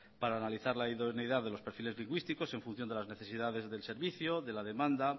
para analizar la idoneidad de los perfiles lingüísticos en función de las necesidades del servicio de la demanda